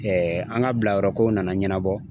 an ka bilayɔrɔko nana ɲanabɔ.